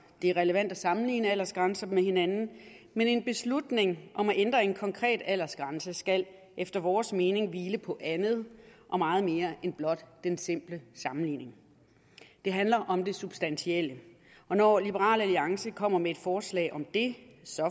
det er relevant at sammenligne aldersgrænser med hinanden men en beslutning om at ændre en konkret aldersgrænse skal efter vores mening hvile på andet og meget mere end blot den simple sammenligning det handler om det substantielle og når liberal alliance kommer med et forslag om det så